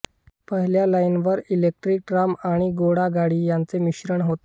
पहिल्या लाईनवर electric tram आणि घोडागाडी यांचे मिश्रण होते